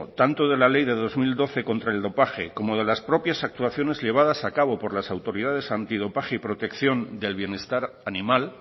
tanto de la ley del dos mil doce contra el dopaje como de las propias actuaciones llevadas a cabo por las autoridades antidopaje y protección del bienestar animal